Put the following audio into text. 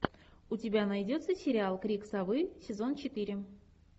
у тебя найдется сериал крик совы сезон четыре